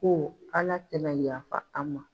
Ko Ala tɛna yafa an ma.